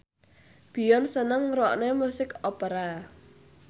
Beyonce seneng ngrungokne musik opera